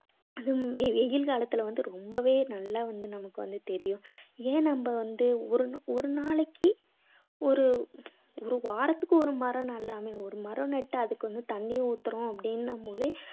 அஹ் வெயில் காலத்துல வந்து ரொம்பவே நல்லா வந்து உங்களுக்கு தெரியும். ஏன் நம்ம வந்து ஒரு நாளைக்கு ஒரு ஒரு வாரத்துக்கு ஒரு மரம் நடலாமே ஒரு மரம் நாட்டா அதுக்கு வந்து தண்ணீ ஊத்துறோம் அப்படீங்கற போது